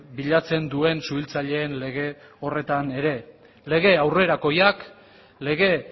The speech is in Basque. bilatzen duen suhiltzaileen lege horretan ere lege aurrerakoiak lege